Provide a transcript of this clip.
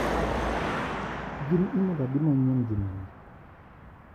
Gin imel adi manyien juma ni.